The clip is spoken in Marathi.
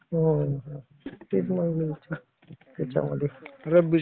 हम्म. तेच म्हणलं त्याच्यामध्ये रब्बीचं